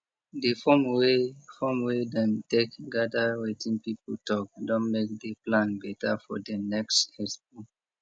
the form wey form wey dem take gather wetin people talk don make di plan better for di next expo